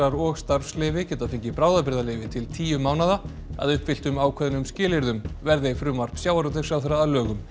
og starfsleyfi geta fengið bráðabirgðarleyfi til tíu mánaða að uppfylltum ákveðnum skilyrðum verði frumvarp sjávarútvegsráðherra að lögum